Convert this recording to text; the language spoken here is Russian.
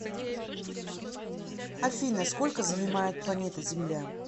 афина сколько занимает планета земля